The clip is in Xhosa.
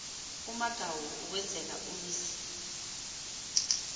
umagawu ukwenzela umzi